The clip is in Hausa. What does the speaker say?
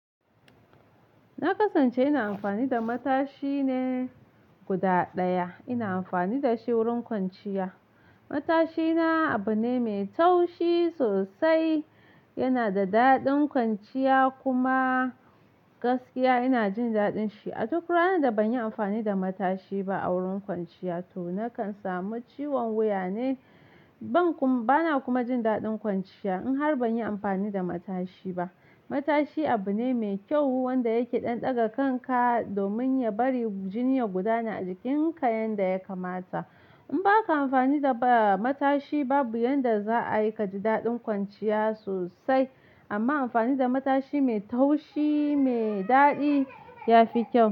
Na kasance ina amfani da matashi ne guda ɗaya, ina amfani da shi wurin kwanciya. Matashina abu ne mai taushi sosai, yana da daɗin kwanciya kuma gaskiya ina jin daɗin shi. A duk ranan da ban yi amfani da matashi ba a wurin kwanciya to nakan samu ciwon wuya ne, bana kuma jin daɗin kwanciya in har ban yi amfani da matashi ba. Matashi abu ne mai kyau wanda yake ɗan ɗaga kanka domin ya bari jini ya gudana a jikinka yanda ya kamata. In ba ka amfani da matashi babu yanda za a yi ka ji daɗin kwanciya sosai amma amfani da matashi mai taushi mai daɗi ya fi kyau.